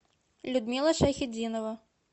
людмила шайхитдинова